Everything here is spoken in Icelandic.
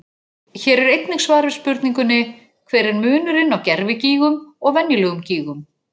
Hér er einnig svar við spurningunni: Hver er munurinn á gervigígum og venjulegum gígum?